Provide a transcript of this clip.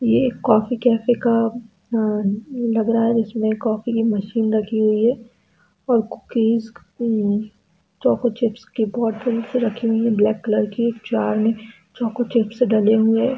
ये एक coffee cafe का लग रहा है जिसमें कॉफी की मशीन रखी हुई है और कुकीज़ चोको चिप्स के कार्टून रखे हुए हैं ब्लैक कलर के जार में चोको चिप्स डाले हुए--